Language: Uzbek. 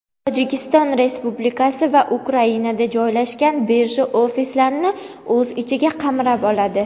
Tojikiston Respublikasi va Ukrainada joylashgan birja ofislarini o‘z ichiga qamrab oladi.